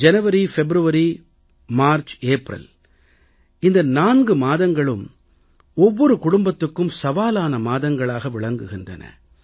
ஜனவரி பிப்ரவரி மார்ச் ஏப்ரல் இந்த 4 மாதங்களும் ஒவ்வொரு குடும்பத்துக்கும் சவாலான மாதங்களாக விளங்குகின்றன